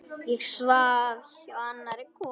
Ég svaf hjá annarri konu.